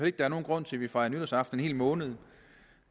ikke der er nogen grund til at vi fejrer nytårsaften en hel måned